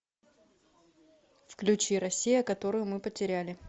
включи россия которую мы потеряли